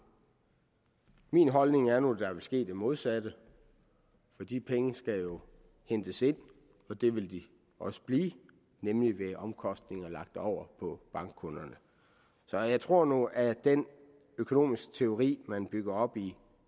min holdning er nu at der vil ske det modsatte for de penge skal jo hentes ind og det vil de også blive nemlig ved omkostninger lagt over på bankkunderne så jeg tror nu at den økonomiske teori man bygger op i